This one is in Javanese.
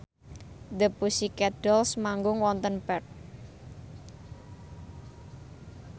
The Pussycat Dolls manggung wonten Perth